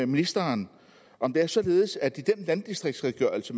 ministeren om det er således at der i den landdistriktsredegørelse